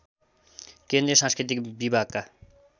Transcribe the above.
केन्द्रीय सांस्कृतिक विभागका